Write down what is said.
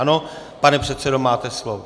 Ano, pane předsedo, máte slovo.